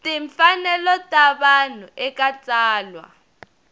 timfanelo ta vanhu eka tsalwa